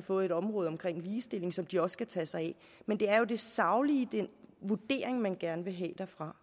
fået området med ligestilling som de også skal tage sig af men det er den saglige vurdering man gerne vil have derfra